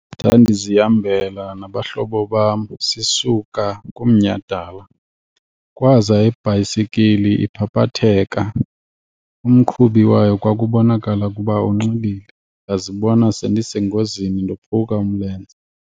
Ndandizihambela nabahlobo bam sisuka kumnyhadala. Kwaza ibhayisikili iphaphatheka, umqhubi wayo kwakubonakala ukuba unxilile. Ndazibona sendisengozini ndophuka umlenze.